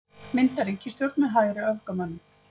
Mynda ríkisstjórn með hægri öfgamönnum